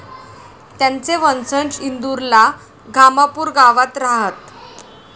त्यांचे वंशज इंदूरला घामापूर गावात राहात.